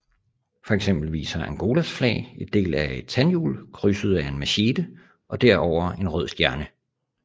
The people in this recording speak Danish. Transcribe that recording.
For eksempel viser Angolas flag en del af et tandhjul krydset af en machete og derover en rød stjerne